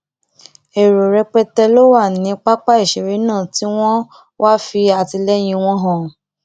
èrò rẹpẹtẹ ló wà ní pápá ìṣeré náà tí wọn wáá fi àtìlẹyìn wọn hàn